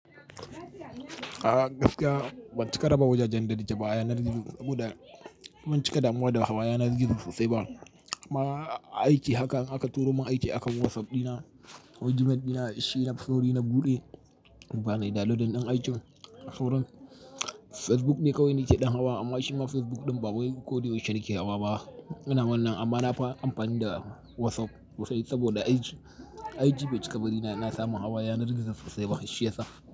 A gaskiya ban cika raba waje jan daɗi da baya yanar gizo saboda ban cika damuwa da hawa yanar gizo sosai ba. Ma aiki haka in aka turo min aiki a kan WhatsApp ɗina, email ɗina, shine, sori na buɗe in fara ɗanlodin ɗin aikin. Sauran Facebook ne kawai nake ɗan hawa amma shi ma Facebook ɗin ba wai ko da yaushe yake hawa ba. Ina wannan amma na fara amfani da WhatsApp sosai saboda IG. IG bai cika bari na, na samu hawa yanar gizo sosai ba shi ya sa.